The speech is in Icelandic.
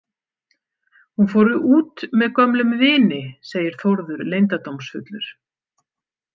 Hún fór út með gömlum vini, segir Þórður leyndardómsfullur.